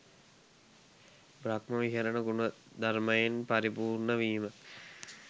බ්‍රහ්ම විහරණ ගුණධර්මයෙන් පරිපූර්ණවීම